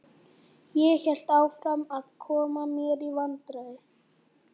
Ég hélt áfram að koma mér í vandræði.